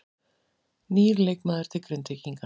Nýr leikmaður til Grindvíkinga